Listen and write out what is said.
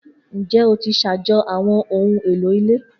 Njẹ o ti ṣajọ awọn ohun elo ile